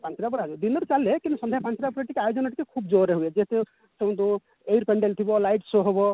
ପାଞ୍ଚଟା ପରେ ଦିନରୁ ଚାଲେ କିନ୍ତୁ ସନ୍ଧ୍ୟା ପାଞ୍ଚଟା ପରେ ଟିକେ ଆୟୋଜନ ଟିକେ ଖୁବ ଜୋରେ ହୁଏ ଯେହେତୁ ଥିବ light show ହବ